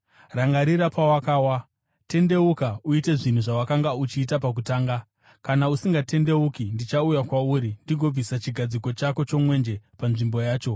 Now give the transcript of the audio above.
Rangarira pawakawa! Tendeuka uite zvinhu zvawakanga uchiita pakutanga. Kana usingatendeuki, ndichauya kwauri ndigobvisa chigadziko chako chomwenje panzvimbo yacho.